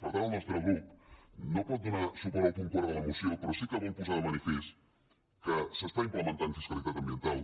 per tant el nostre grup no pot donar suport al punt quart de la moció però sí que vol posar de manifest que s’està implementant fiscalitat mediambiental